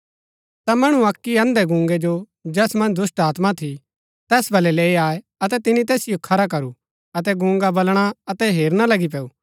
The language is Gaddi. ता मणु अक्की अन्धैगूंगै जो जैस मन्ज दुष्‍टात्मा थी तैस बलै लैई आये अतै तिनी तैसिओ खरा करू अतै गूंगा बलणा अतै हेरना लगी पैऊ